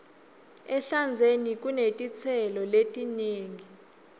ehlandzeni kunetitselo letinengi